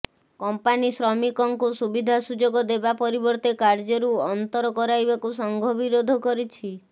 company ଶ୍ରମିକଙ୍କୁ ସୁବିଧା ସୁଯୋଗ ଦେବା ପରିବର୍ତ୍ତେ କାର୍ଯ୍ୟରୁ ଅନ୍ତର କରାଇବାକୁ ସଂଘ ବିରୋଧ କରିଛି